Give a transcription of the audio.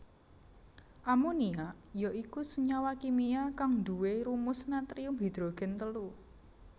Amonia ya iku senyawa kimia kang duwé rumus natrium hidrogen telu